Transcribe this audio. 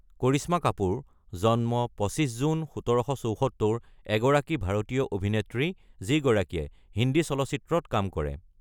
কৰিশ্মা কাপুৰ (জন্ম ২৫ জুন ১৯৭৪) এগৰাকী ভাৰতীয় অভিনেত্ৰী, যিগৰাকীয়ে হিন্দী চলচিত্ৰত কাম কৰে।